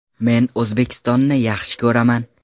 Men O‘zbekistonni yaxshi ko‘raman.